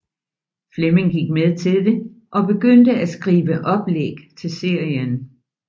Fleming gik med til det og begyndte at skrive oplæg til serien